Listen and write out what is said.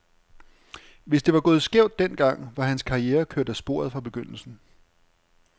Hvis det var gået skævt den gang, var hans karriere kørt af sporet fra begyndelsen.